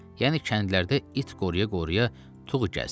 Yəni kəndlərdə it qoruya-qoruya tuğ gəzdir.